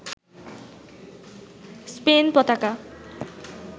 Spain পতাকা